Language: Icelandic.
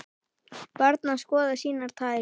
Barn að skoða sínar tær.